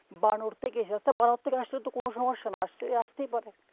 বানর থেকে এসেছে তা বানর থেকে আসলে কোনো সমস্যা নাই আস্তে~আসতেই পারে